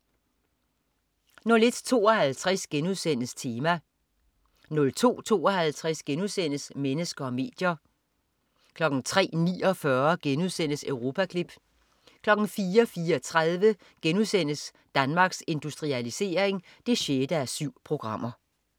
01.52 Tema* 02.52 Mennesker og medier* 03.49 Europaklip* 04.34 Danmarks Industrialisering 6:7*